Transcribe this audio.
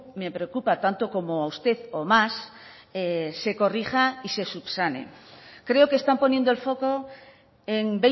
me preocupa tanto como a usted o más se corrija y se subsane creo que están poniendo el foco en